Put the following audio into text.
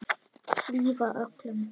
Hlífa öllum.